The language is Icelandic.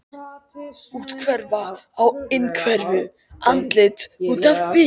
Úthverfa á innhverfu, andlit út á við.